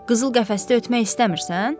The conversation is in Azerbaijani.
Qızıl qəfəsdə ötmək istəmirsən?